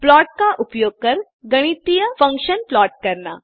plot का उपयोग कर गणितीय फंक्शन्स प्लॉट करना